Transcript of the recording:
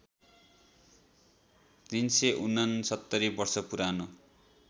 ३६९ वर्ष पुरानो